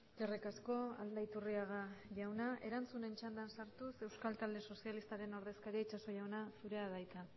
eskerrik asko aldaiturriaga jauna erantzunen txandan sartuz euskal talde sozialistaren ordezkaria itxaso jauna zurea da hitza